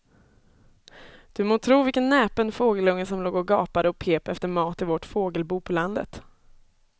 Du må tro vilken näpen fågelunge som låg och gapade och pep efter mat i vårt fågelbo på landet.